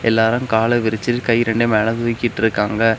எல்லாரு கால விரிச்சு கை ரெண்டயு மேல தூக்கிட்டு இருக்காங்க.